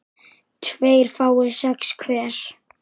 tveir fái sex hver